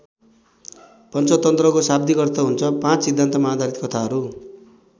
पञ्चतन्त्रको शाव्दिक अर्थ हुन्छ पाँच सिद्धान्तमा आधारित कथा हरू।